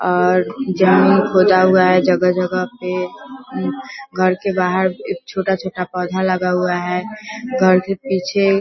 और जमीन खोदा हुआ है जगह-जगह पे घर के बाहर एक छोटा-छोटा पौधा लगा हुआ है घर के पीछे --